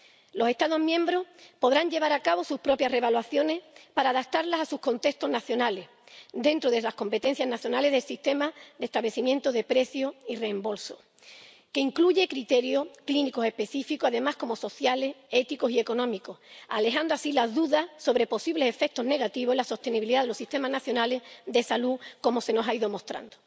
Los Estados miembros podrán llevar a cabo sus propias reevaluaciones para adaptarlas a sus contextos nacionales, dentro de las competencias nacionales del sistema de establecimiento de precios y reembolsos, que incluye criterios clínicos específicos además de sociales, éticos y económicos, alejando las dudas sobre posibles efectos negativos en la sostenibilidad de los sistemas nacionales de salud, como se nos ha ido mostrando.